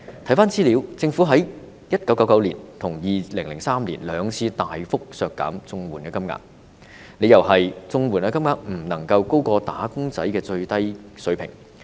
翻查資料，政府在1999年跟2003年兩次大幅削減綜合社會保障援助金額，理由是綜援金額不能高過"打工仔"的低薪水平。